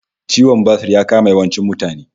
Ciwon basur ya kama yawancin mutane